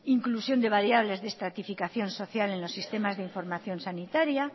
inclusión de las variables de estratificación social en los sistemas de información sanitaria